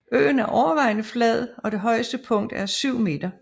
Øen er overvejende flad og det højeste punkt er 7 meter